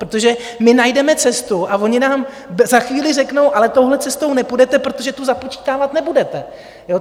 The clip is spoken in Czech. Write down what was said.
Protože my najdeme cestu a oni nám za chvíli řeknou: Ale touhle cestou nepůjdete, protože tu započítávat nebudete.